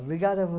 Obrigada a